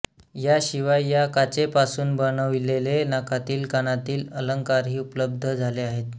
याशिवाय या काचेपासून बनविलेले नाकातील कानातील अलंकारही उपलब्ध झाले आहेत